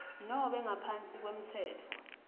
nobe ngaphansi kwemtsetfo